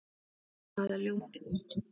Það er ljómandi gott!